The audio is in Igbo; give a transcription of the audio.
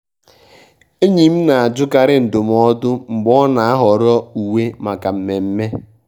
ényí m ná-àjụ́kárí ndụ́mọ́dụ́ mgbé ọ́ ná-àhọ́rọ́ úwé máká mmémmé.